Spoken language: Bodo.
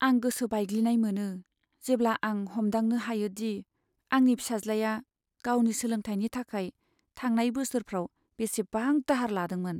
आं गोसो बायग्लिनाय मोनो, जेब्ला आं हमदांनो हायो दि आंनि फिसाज्लाया गावनि सोलोंथायनि थाखाय थांनाय बोसोरफ्राव बेसेबां दाहार लादोंमोन।